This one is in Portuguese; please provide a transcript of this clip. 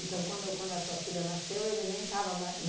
quando quando a sua filha nasceu, ele nem estava